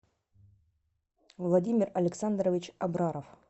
владимир александрович абраров